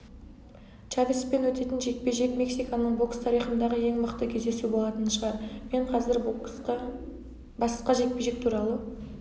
чавеспен өтетін жекпе-жек мексиканың бокс тарихындағы ең мықты кездесу болатын шығар мен қазір басқа жекпе-жек туралы